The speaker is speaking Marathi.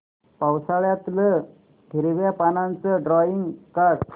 पावसाळ्यातलं हिरव्या पानाचं ड्रॉइंग काढ